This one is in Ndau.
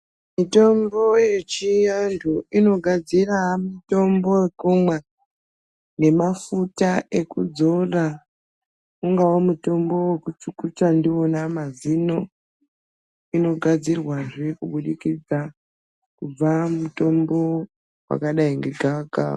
Mitombo yechiantu inogadzira mitombo yekumwa nemafuta ekudzora. Ungava mutombo wekuchukucha ndiwona mazino, inogadzirwa zve kuburikidza kubva mutombo wakadai ngegavakava.